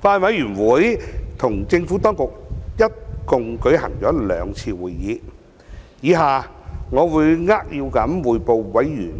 法案委員會與政府當局一共舉行了兩次會議，以下我會扼要匯報委員